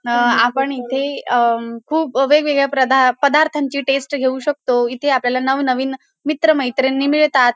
अ आपण इथे अ खूप वेगवेगळ्या प्रदा पदार्थांची टेस्ट घेऊ शकतो. इथे आपल्याला नवनवीन मित्र-मैत्रिणी मिळतात.